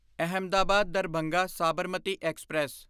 Ahmedabad Darbhanga Sabarmati express